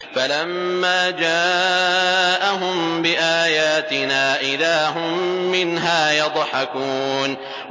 فَلَمَّا جَاءَهُم بِآيَاتِنَا إِذَا هُم مِّنْهَا يَضْحَكُونَ